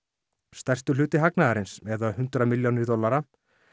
stærstur hluti hagnaðarins eða hundrað milljónir dollara